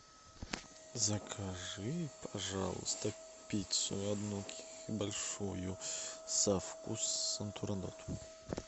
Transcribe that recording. закажи пожалуйста пиццу одну большую со вкусом турандот